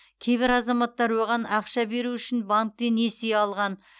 кейбір азаматтар оған ақша беру үшін банктен несие алған